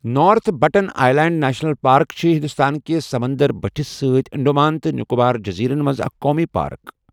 North Button Island National Park چھِ ہندوستان کِس سمنٛدر بٔٹھِس سۭتۍ انڈمان تہٕ نکوبار جٔزیٖرَن منٛز اکھ قومی پارک۔